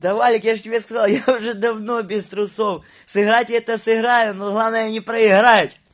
да валик я же тебе сказал я уже давно без трусов сыграть это сыграем но главное не проиграть